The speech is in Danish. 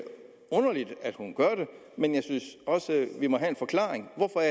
hun gør det men jeg synes også at vi må have en forklaring hvorfor er